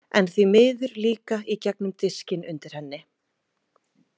En því miður líka í gegnum diskinn undir henni.